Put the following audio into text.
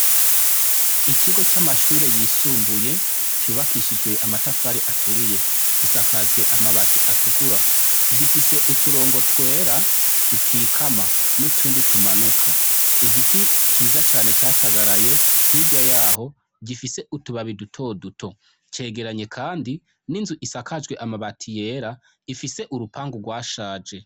Ikigo c'amashure yisumbuye, cubakishijwe amatafari aturiye, gisakajwe amabati atukura, gifise uturongo twera dukikama, n'utundi tumanuka. Igiti ciza cane casagaraye, hirya yaho gifise utubabi duto duto, cegeranye kandi n'inzu isakajwe amabati yera ifise urupangu rwashaje.